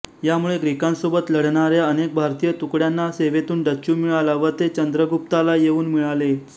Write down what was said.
यामुळे ग्रीकांसोबत लढणाऱ्या अनेक भारतीय तुकड्यांना सेवेतून डच्चू मिळाला व ते चंद्रगुप्ताला येऊन मिळाले